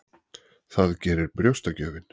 Það gerir brjóstagjöfin.